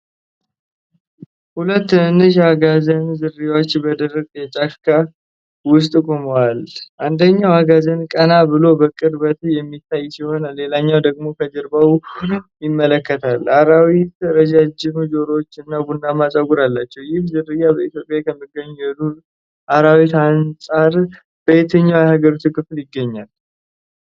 ሁለት ትናንሽ የአጋዘን ዝርያዎች በደረቅ የጫካ ውስጥ ቆመዋል። አንደኛው አጋዘን ቀና ብሎ በቅርበት የሚታይ ሲሆን፣ ሌላኛው ደግሞ ከጀርባው ሆኖ ይመለከታል። አራዊቱ ረዣዥም ጆሮዎችና ቡናማ ፀጉር አላቸው። ይህ ዝርያ በኢትዮጵያ ከሚገኙት የዱር አራዊት አንፃር በየትኛው የሀገሪቱ ክፍል ይገኛል?